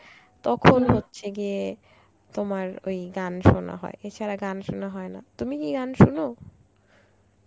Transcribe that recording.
তখন হচ্ছে গিয়ে তোমার ওই গান শোনা হয় এছাড়া গান শোনা হয় না. তুমি কি গান শোন?